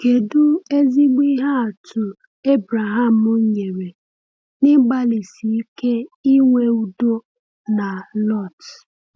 Kedu ezigbo ihe atụ Abraham nyere n’ịgbalịsi ike inwe udo na Lot?